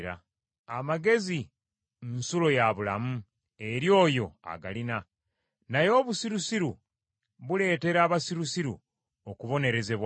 Amagezi nsulo ya bulamu eri oyo agalina, naye obusirusiru buleetera abasirusiru okubonerezebwa.